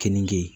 Keninge